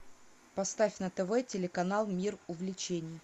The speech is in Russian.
поставь на тв телеканал мир увлечений